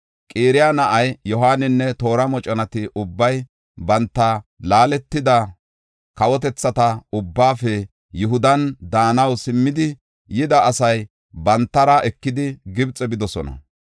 Qaraya na7ay Yohaaninne toora moconati ubbay banta laaletida kawotethata ubbaafe Yihudan daanaw simmida Yihuda asa bantara ekidi Gibxe bidosona.